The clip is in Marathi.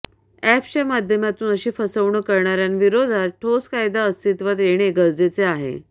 अॅप्सच्या माध्यमातून अशी फसवणूक करणाऱ्यांविरोधात ठोस कायदा अस्तित्वात येणे गरजेचे आहे